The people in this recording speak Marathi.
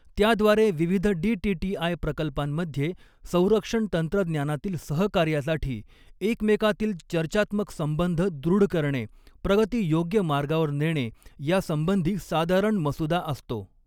त्याद्वारे विविध डीटीटीआय प्रकल्पांमध्ये संरक्षण तंत्रज्ञानातील सहकार्यासाठी एकमेकातील चर्चात्मक संबंध दॄढ करणे, प्रगती योग्य मार्गावर नेणे यासंबंधी साधारण मसुदा असतो.